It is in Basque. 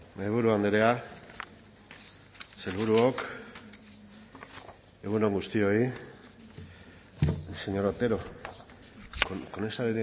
mahaiburu andrea sailburuok egun on guztioi señor otero con esa